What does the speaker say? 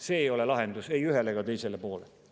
See ei ole lahendus ei ühele ega teisele poolele.